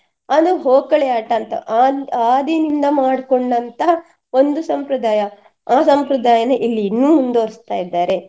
ಅಂದ್ರೆ ಹೋಕಳಿ ಆಟ ಅಂತ ಆ~ ಆದಿಯಿಂದ ಮಾಡ್ಕೊಂಡಂತಹ ಒಂದು ಸಂಪ್ರದಾಯ ಆ ಸಂಪ್ರದಾಯನೆ ಇಲ್ಲಿ ಇನ್ನು ಮುಂದುವರೆಸ್ತ ಇದ್ದಾರೆ.